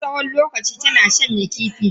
Ta dauki tsawon lokaci tana shanya kifi.